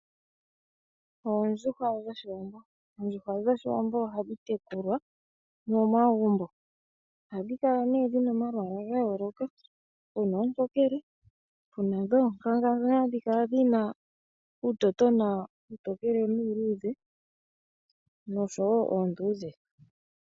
Oondjuhwa dhoshiwambo, oondjuhwa dhoshiwambo ohadhi tekulwa momagumbo ohadhi kala dhina omalwaala gayooloka pena ontokele, pena dhoonkanga dhono hadhikala dhina uutotono uutokele nuuludhe noshowo oondudhe.